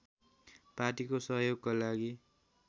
पार्टीको सहयोगको लागि